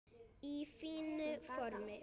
Í fínu formi.